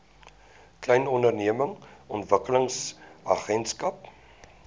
klein ondernemings ontwikkelingsagentskap